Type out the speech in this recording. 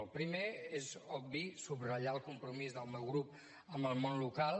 el primer és obvi subratllar el compromís del meu grup amb el món local